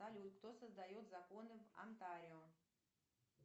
салют кто создает законы в антарио